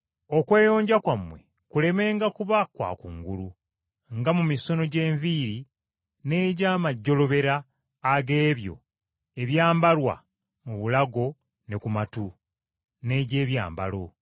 Okweyonja kwammwe kulemenga kuba kwa kungulu: nga mu misono gy’enviiri n’egy’amajjolobera ag’ebyo ebyambalwa mu bulago ne ku matu, n’egy’ebyambalo.